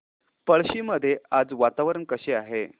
पळशी मध्ये आज वातावरण कसे आहे